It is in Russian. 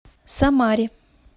самаре